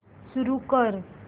सुरू कर